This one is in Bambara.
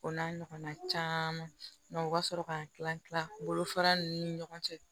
O n'a ɲɔgɔnna caman u ka sɔrɔ k'an tila tila bolofara ninnu ni ɲɔgɔn cɛ